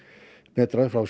metrar frá